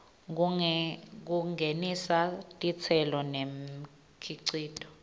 kungenisa titselo nemikhicito